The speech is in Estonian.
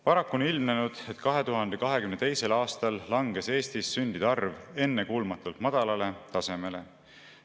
Paraku on ilmnenud, et 2022. aastal langes Eestis sündide arv ennekuulmatult madalale tasemele.